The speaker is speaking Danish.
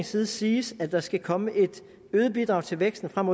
side siges at der skal komme et øget bidrag til væksten frem